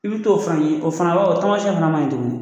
I bi t'o fana ye o fana b'a wo tamasɛn fana manɲi tuguni